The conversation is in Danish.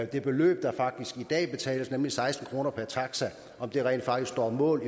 det beløb der i dag betales nemlig seksten kroner per taxa rent faktisk står mål